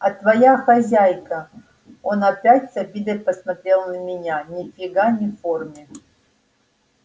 а твоя хозяйка он опять с обидой посмотрел на меня ни фига не в форме